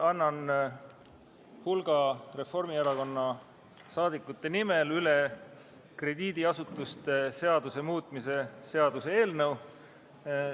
Annan hulga Reformierakonna rahvasaadikute nimel üle krediidiasutuste seaduse muutmise seaduse eelnõu.